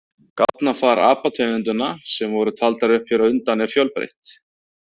Gáfnafar apategundanna sem voru taldar upp hér á undan er fjölbreytt.